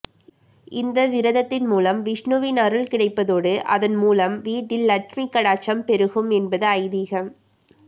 இந்த விரதத்தின் முலம் விஷ்ணுவின் அருள் கிடைப்பதோடு அதன் முலம் வீட்டில் லட்சுமி கடாட்சம் பெருகும் என்பது ஐதீகம்